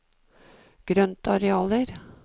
grøntarealer